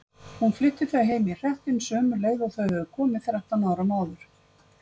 Hún flutti þau heim í hreppinn, sömu leið og þau höfðu komið þrettán árum áður.